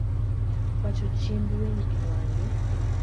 wacho chiemb winy e wang`e